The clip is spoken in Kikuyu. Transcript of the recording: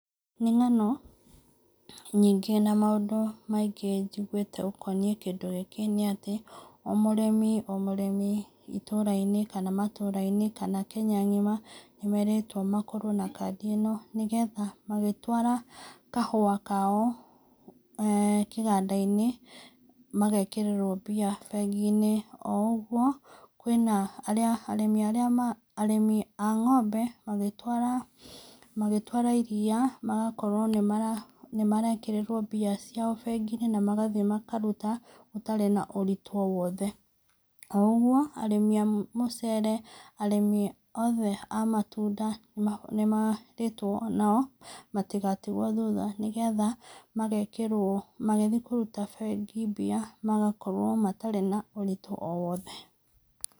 Nĩ ng'ano nyingĩ na maũndũ maingĩ njiguĩte ũkoniĩ kĩndũ gĩkĩ nĩ atĩ, o mũrĩmi o mũrĩmi itũra-inĩ, kana matũra-inĩ kana kenya ng'ima, nĩmeretwo makorwo na kandi ĩno, nĩgetha magĩtwara kahua kao eeh kĩganda-inĩ magekĩrĩrwo mbia bengi-inĩ, o ũguo kwĩna arĩa arĩmi arĩa, arĩmi a ngombe magĩtwara, magĩtwara iria magakorwo nĩ marekĩrĩrwo mbia ciao bengi-inĩ, na magathiĩ makaruta gũtarĩ na ũritũ o wothe, o ũguo arĩmi a mũcere, arĩmi othe a matunda nĩmerĩtwo o nao matigatigwo na thutha, nĩgetha magekĩrwo, magĩthiĩ kũruta bengi mbia magakorwo matarĩ na ũritũ o wothe.